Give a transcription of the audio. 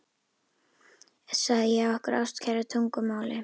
sagði ég á okkar ástkæra tungumáli.